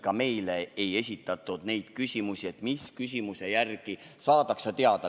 Ka meile ei esitatud neid küsimusi, mille järgi saadakse teada.